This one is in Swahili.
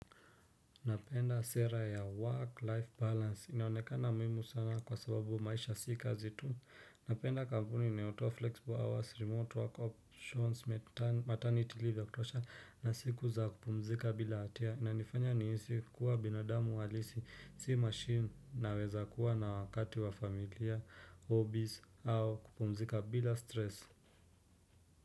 Napenda sera ya work-life balance. Inaonekana muhimu sana kwa sababu maisha si kazi tu. Napenda kampuni inayotoa flexible hours, remote work options, maternity leave ya kutosha na siku za kupumzika bila hatia. Inanifanya nihisi kuwa binadamu halisi, si machine naweza kuwa na wakati wa familia, hobbies, au kupumzika bila stress.